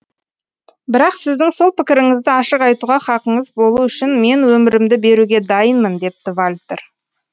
бірақ сіздің сол пікіріңізді ашық айтуға хақыңыз болу үшін мен өмірімді беруге дайынмын депті вальтер